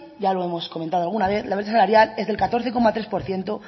ya lo hemos comentado alguna vez la brecha salarial es del catorce coma tres por ciento